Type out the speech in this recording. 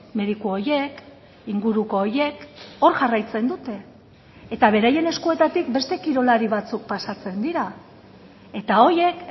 mediku horiek inguruko horiek hor jarraitzen dute eta beraien eskuetatik beste kirolari batzuk pasatzen dira eta horiek